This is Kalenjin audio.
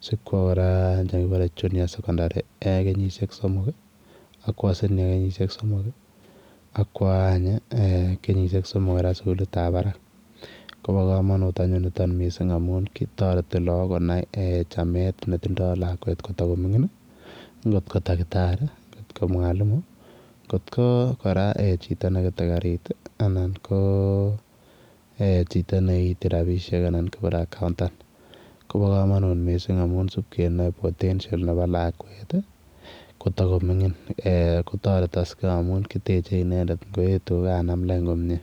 sikwaa kora nekebare [junior secondary] kenyisiek somok ii akwa [senior] kenyisiek somok ak kwaak aaany ii kenyisiek somok kora suguliit ab Barak kobaa kamanut anyuun nitoon anyuun nitoon missing amuun taretii lagoon Konai missing chameet ne tindoi lakweet kotakomingin NGO it ko dakitari not mwalimu NGO it ko kora chitoo nekete garisheek anan ko chitoo ne iiti rapisheek anan kibore [accountant] kobaa kamanut missing amuun sip kenae potential nebo lakweet ii kotakomingin kotaretaksei amuun kiteche inendet Ingo etu ko kanam lain komyei.